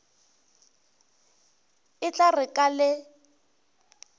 e tla re ka le